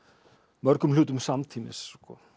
mörgum hlutum samtímis